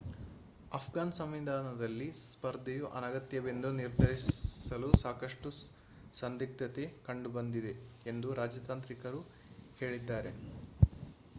ಅಫ್ಘಾನ್ ಸಂವಿಧಾನದಲ್ಲಿ ಸ್ಪರ್ಧೆಯು ಅನಗತ್ಯವೆಂದು ನಿರ್ಧರಿಸಲು ಸಾಕಷ್ಟು ಸಂದಿಗ್ಧತೆ ಕಂಡುಬಂದಿದೆ ಎಂದು ರಾಜತಾಂತ್ರಿಕರು ಹೇಳಿದ್ದಾರೆ